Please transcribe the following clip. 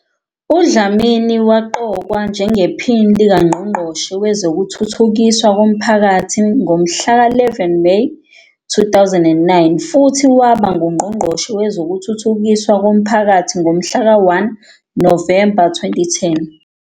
UDlamini waqokwa njengePhini likaNgqongqoshe Wezokuthuthukiswa Komphakathi ngomhlaka 11 Meyi 2009, futhi waba nguNgqongqoshe Wezokuthuthukiswa Komphakathi ngomhlaka 1 Novemba 2010.